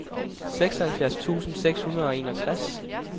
syvoghalvfjerds tusind seks hundrede og enogtres